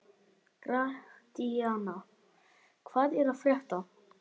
Gratíana, hvað er að frétta?